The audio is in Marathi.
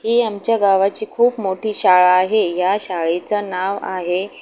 ही आमच्या गावाची खूप मोठी शाळा आहे या शाळेचं नाव आहे.